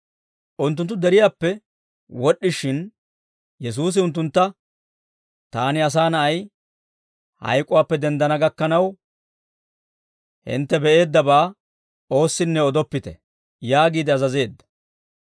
Unttunttu deriyaappe wod'd'ishin, Yesuusi unttuntta, «Taani, Asaa Na'ay, hayk'uwaappe denddana gakkanaw, hintte be'eeddabaa oossinne odoppite» yaagiide azazeedda.